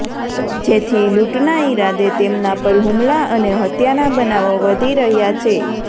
જેથી લૂંટના ઈરાદે તેમના પર હુમલા અને હત્યાના બનાવો વધી રહ્યાં છે